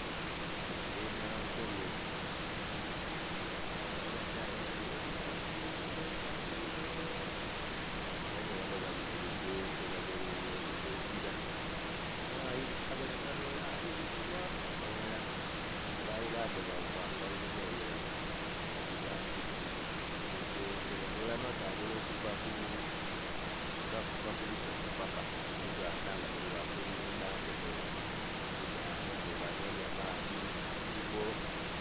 Ente enankole ke dhino abadhaya batera odhitambuza engendo empanvu inho.. era ni ghano bali mulugendo batereire engira omwaayi aboneka n'ole ali einhuma eghala abaayi badho bava nga inhuma eyo batyo bwebadhitambuza olugendo. Basobola n'otambula okuva ku.. nga ku busoga paaka ku buganda nga bali kulunda nte dhaibwe ku dhaaya bwe banonya maadhi na nsiko.